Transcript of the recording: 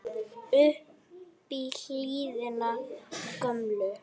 upp í hlíðina gömlu